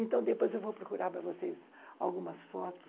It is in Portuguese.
Então depois eu vou procurar para vocês algumas fotos.